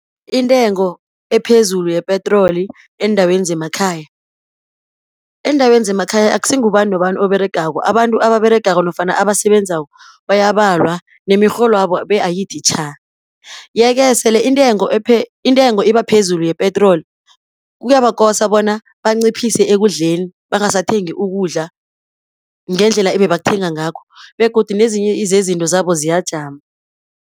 Intengo ephezulu yepetroli eendaweni zemakhaya, eendaweni zemakhaya akusingubani nobani oberegako. Abantu ababeregako nofana abasebenzako bayabalwa lemirholwabo be-ayithitjha. Ye-ke sele intengo ibaphezulu yepetroli, kuyabakosa bona banciphise ekudleni, bangasathengi ukudla ngendlela ibebakuthenga ngakho, begodu nezinye zezinto zabo ziyajama.